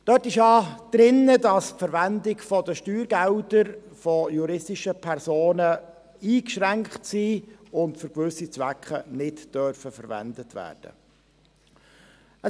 Dort steht drin, dass die Verwendung der Steuergelder von juristischen Personen eingeschränkt ist und diese für bestimmte Zwecke nicht verwendet werden dürfen.